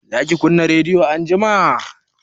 zaki kunna rediyo anjima?